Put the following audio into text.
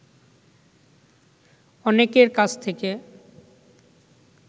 অনেকের কাছ থেকে